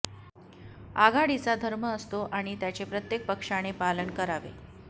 आघाडीचा धर्म असतो आणि त्याचे प्रत्येक पक्षाने पालन करावे